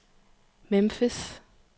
Memphis